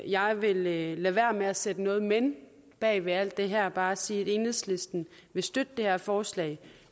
jeg vil lade være med at sætte noget men bag ved alt det her og bare sige at enhedslisten vil støtte det her forslag